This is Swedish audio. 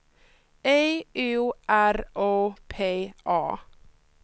E U R O P A